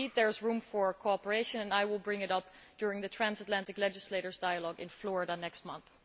So there is room for cooperation, and I will bring it up during the Transatlantic Legislators' Dialogue in Florida next month.